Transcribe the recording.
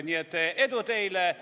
Nii et edu teile!